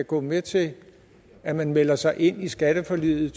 gå med til at man meldte sig ind i skatteforliget